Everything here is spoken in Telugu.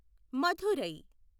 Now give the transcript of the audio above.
మదురై